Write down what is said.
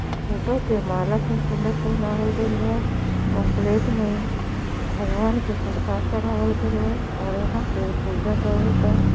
Photo पर माला खूब सुंदर पहनावल गइल बा और प्लेट में भगवान के प्रसाद चढ़ावल गइल बा और यहां पर पूजा करता।